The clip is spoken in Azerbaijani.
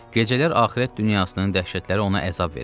Gecələr axirət dünyasının dəhşətləri ona əzab verirdi.